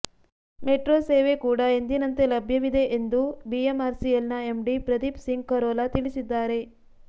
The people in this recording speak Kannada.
ಮೆಟ್ರೋ ಸೇವೆ ಕೂಡಾ ಎಂದಿನಂತೆ ಲಭ್ಯವಿದೆ ಎಂದು ಬಿಎಂಆರ್ಸಿಎಲ್ನ ಎಂಡಿ ಪ್ರದೀಪ್ ಸಿಂಗ್ ಖರೋಲಾ ತಿಳಿಸಿದ್ದಾರೆ